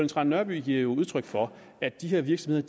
trane nørby giver jo udtryk for at de her virksomheder